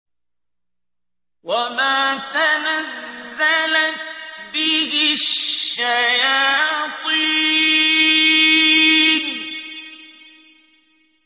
وَمَا تَنَزَّلَتْ بِهِ الشَّيَاطِينُ